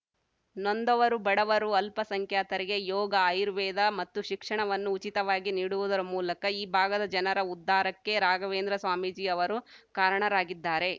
ನೊಂದವರು ಬಡವರು ಅಲ್ಪಸಂಖ್ಯಾತರಿಗೆ ಯೋಗ ಆಯುರ್ವೇದ ಮತ್ತು ಶಿಕ್ಷಣವನ್ನು ಉಚಿತವಾಗಿ ನೀಡುವುದರ ಮೂಲಕ ಈ ಭಾಗದ ಜನರ ಉದ್ಧಾರಕ್ಕೆ ರಾಘವೇಂದ್ರ ಸ್ವಾಮೀಜಿ ಅವರು ಕಾರಣರಾಗಿದ್ದಾರೆ